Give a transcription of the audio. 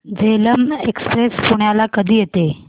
Jhelum express पुण्याला कधी येते